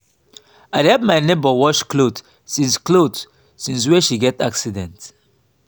i dey help my nebor wash cloth since cloth since wey she get accident.